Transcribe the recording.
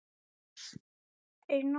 Þórleifur, hvaða vikudagur er í dag?